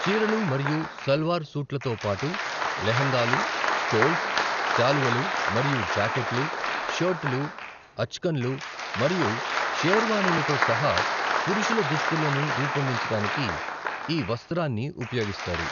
చీరలు మరియు సల్వార్ సూట్లతో పాటు, లెహంగాలు, స్టోల్స్, శాలువలు మరియు జాకెట్లు, షర్టులు, అచ్కాన్లు మరియు షేర్వాణీలతో సహా పురుషుల దుస్తులను రూపొందించడానికి ఈ వస్త్రాన్ని ఉపయోగిస్తారు.